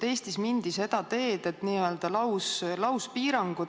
Eestis mindi seda teed, et on lauspiirangud.